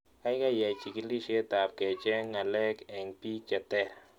Kaikai iyai chikilishet ab kecheng' ng'alek eng'pik che ter